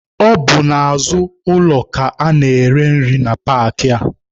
Ọ bụ n'azụ ụlọ ka a na-ere nri na paakị a.